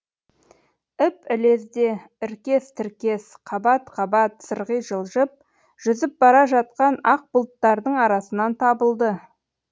іп ілезде іркес тіркес қабат қабат сырғи жылжып жүзіп бара жатқан ақ бұлттардың арасынан табылды